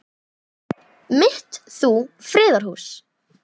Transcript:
mitt þú friðar hús.